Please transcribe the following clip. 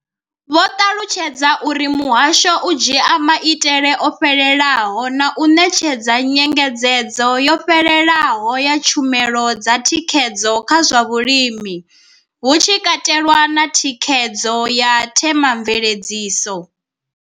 Vho ṱalutshedza uri muhasho u dzhia maitele o fhelelaho na u ṋetshedza nyengedzedzo yo fhelelaho ya tshumelo dza thikhedzo kha zwa vhulimi, hu tshi katelwa na thikhedzo ya Thema mveledziso.